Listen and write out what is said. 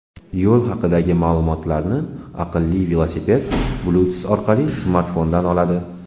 Yo‘l haqidagi ma’lumotlarni aqlli velosiped Bluetooth orqali smartfondan oladi.